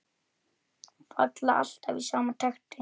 Falla alltaf í sama takti.